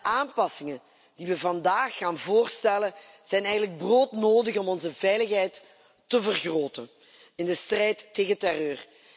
De aanpassingen die we vandaag gaan voorstellen zijn eigenlijk broodnodig om onze veiligheid te vergroten in de strijd tegen terreur.